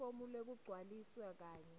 lifomu leligcwalisiwe kanye